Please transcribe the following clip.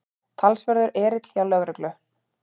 Talsverður erill hjá lögreglu